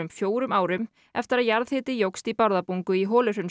fjórum árum eftir að jarðhiti jókst í Bárðarbungu í